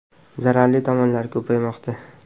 Zararli tomonlari ko‘paymoqda.